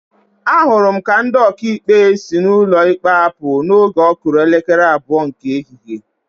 Ahụrụ m ka ndị Ọkaikpe si ụkọ ikpe apụ oge ọ kụrụ elekere abụọ nke ehihie